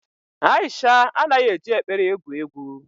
Aisha anaghị eji ekpere egwu egwu.